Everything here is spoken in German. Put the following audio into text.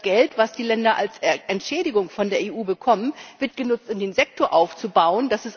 Das Geld, das die Länder als Entschädigung von der EU bekommen, wird genutzt, um den Sektor aufzubauen.